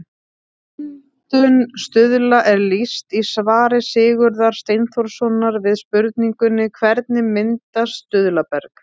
Myndun stuðla er lýst í svari Sigurðar Steinþórssonar við spurningunni Hvernig myndast stuðlaberg?